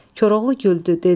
Koroğlu güldü, dedi: